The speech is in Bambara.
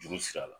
Juru sira la